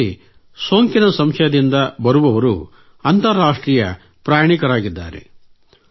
ನಮ್ಮಲ್ಲಿ ಸೋಂಕಿನ ಸಂಶಯದಿಂದ ಬರುವವರು ಅಂತರಾಷ್ಟ್ರೀಯ ಪ್ರಯಾಣಿಕರಾಗಿದ್ದಾರೆ